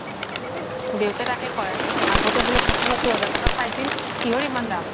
দেউতা তাকে কই আগ্তে বুলে সাথি সতুৰ হেজাৰত পাইছিল কিহৰ ইমান দাম